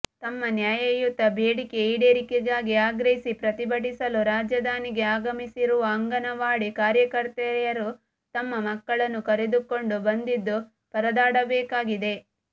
ತಮ್ಮ ನ್ಯಾಯಯುತ ಬೇಡಿಕೆ ಈಡೇರಿಕೆಗಾಗಿ ಆಗ್ರಹಿಸಿ ಪ್ರತಿಭಟಿಸಲು ರಾಜಧಾನಿಗೆ ಆಗಮಿಸಿರುವ ಅಂಗನವಾಡಿ ಕಾರ್ಯಕರ್ತೆಯರು ತಮ್ಮ ಮಕ್ಕಳನ್ನು ಕರೆದುಕೊಂಡು ಬಂದಿದ್ದು ಪರದಾಡಬೇಕಾಗಿದೆ